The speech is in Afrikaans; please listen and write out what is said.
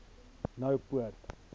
noupoort